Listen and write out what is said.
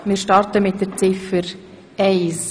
Wir starten mit Ziffer eins.